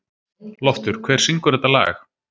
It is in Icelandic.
Loftur, hver syngur þetta lag?